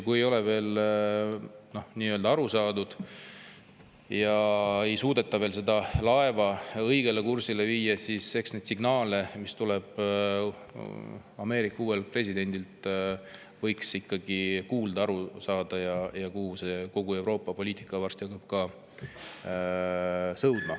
Kui ei ole veel sellest aru saadud ja ei suudeta seda laeva õigele kursile viia, siis neid signaale, mis tulevad Ameerika uuelt presidendilt, võiks ikkagi kuulata ja aru saada, kuhupoole kogu Euroopa poliitika varsti hakkab sõudma.